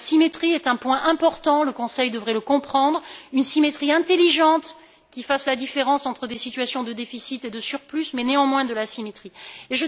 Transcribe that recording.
La symétrie est donc un point important, le Conseil devrait le comprendre une symétrie intelligente, qui fasse la différence entre des situations de déficit et de surplus, mais une symétrie tout de